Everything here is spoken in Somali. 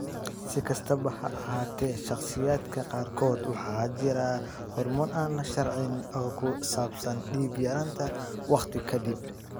Si kastaba ha ahaatee, shakhsiyaadka qaarkood waxaa jira horumar aan la sharraxin oo ku saabsan dhiig-yaraanta waqti ka dib.